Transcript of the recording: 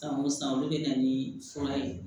San o san olu bɛ na ni fura ye